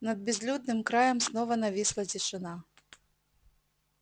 над безлюдным краем снова нависла тишина